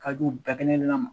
Ka du u bɛɛ kelen kelen na ma.